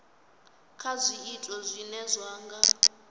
kha zwiito zwine zwa nga